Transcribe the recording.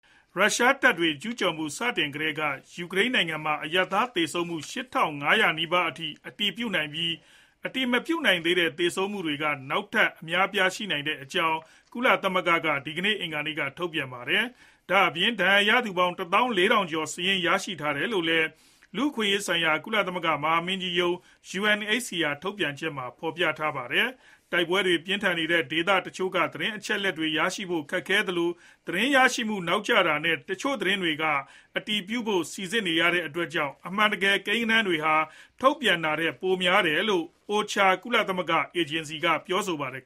ရုရှားတပ်တွေ ကျူးကျော်မှု စတင်ကတည်းက ယူကရိန်းနိုင်ငံမှာ အရပ်သား သေဆုံးမှု ၈ ထောင် ၅ ရာ နီးပါးအထိ အတည်ပြုနိုင်ပြီး အတည်မပြုနိုင်တဲ့ သေဆုံးမှုတွေ နောက်ထပ် အများအပြား ရှိနိုင်တဲ့အကြောင်း ကုလသမဂ္ဂ က ဒီကနေ့ အင်္ဂါနေ့က ထုတ်ပြန်ပါတယ်။ ဒါ့အပြင် ဒဏ်ရာရသူပေါင်း ၁ သောင်း ၄ ထောင် ကျော် စာရင်း ရရှိတယ်လို့လည်း လူ့အခွင့်အရေးဆိုင်ရာ ကုလသမဂ္ဂ မဟာမင်းကြီး ရုံး UNHCR ထုတ်ပြန်ချက်မှာ ဖော်ပြထားပါတယ်။ တိုက်ပွဲတွေ ပြင်းထန်နေတဲ့ဒေသ တချို့ကသတင်း အချက်အလက်တွေ ရရှိဖို့ ခက်ခဲသလို၊ သတင်းရရှိမှု နောက်ကျနေတာနဲ့ တချို့သတင်းတွေက အတည်ပြုဖို့ စိစစ်နေရတဲ့ အတွက်ကြောင့် အမှန်တကယ် ကိန်းဂဏန်းတွေဟာ ထုတ်ပြန်ထား တာထက် ပိုပြီးများတယ်လို့ OHCHR ကုလသမဂ္ဂ အေဂျင်စီ က ပြောပါတယ်။